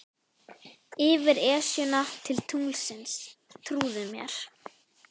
Yfir Esjuna til tunglsins, trúðu mér.